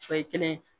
Sɔ ye kelen ye